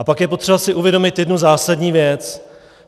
A pak je potřeba si uvědomit jednu zásadní věc.